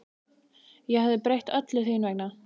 Ég hefði breytt öllu þín vegna.